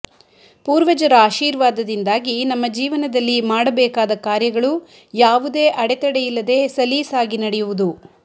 ಪೂರ್ವಜರ ಆಶೀರ್ವಾದದಿಂದಾಗಿ ನಮ್ಮ ಜೀವನದಲ್ಲಿ ಮಾಡಬೇಕಾದ ಕಾರ್ಯಗಳು ಯಾವುದೇ ಅಡೆತಡೆಯಿಲ್ಲದೇ ಸಲೀಸಾಗಿ ನಡೆಯುವುದು